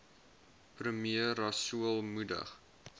premier rasool moedig